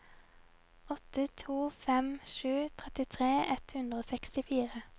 åtte to fem sju trettitre ett hundre og sekstifire